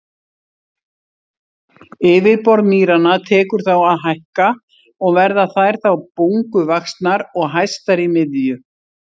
Yfirborð mýranna tekur þá að hækka og verða þær þá bunguvaxnar og hæstar í miðju.